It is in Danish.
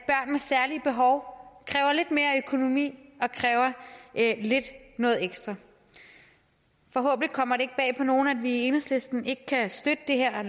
med særlige behov kræver lidt mere økonomi og kræver lidt ekstra forhåbentlig kommer det ikke bag på nogen at vi i enhedslisten ikke kan støtte det her